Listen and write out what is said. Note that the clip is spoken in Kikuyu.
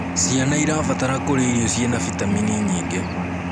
Ciana irabatara kurĩa irio ciĩna vitamini nyingĩ